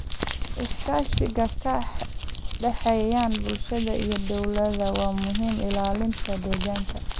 Iskaashiga ka dhexeeya bulshada iyo dowladaha waa muhiim ilaalinta deegaanka.